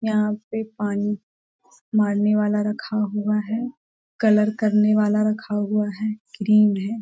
यहां पे पानी मारने वाला रखा हुआ है कलर करने वाला रखा हुआ है क्रीम है।